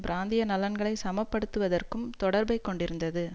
பிராந்திய நலன்களை சமன்படுத்துவதற்கும் தொடர்பைக் கொண்டிருந்தது